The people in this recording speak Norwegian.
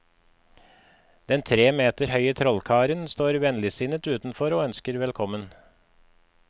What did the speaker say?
Den tre meter høye trollkaren står vennligsinnet utenfor og ønsker velkommen.